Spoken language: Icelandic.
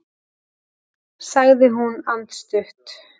sagði hún andstutt.